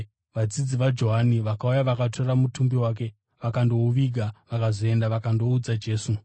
Vadzidzi vaJohani vakauya vakatora mutumbi wake vakandouviga. Vakazoenda vakandoudza Jesu.